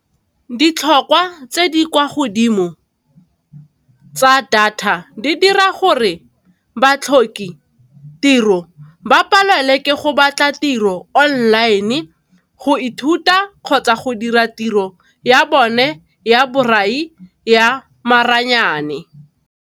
Ditlhokwa tse di kwa godimo tsa data di dira gore batlhoki tiro ba palelwe ke go batla tiro online, go ithuta, kgotsa go dira tiro ya bone ya borai ya maranyane.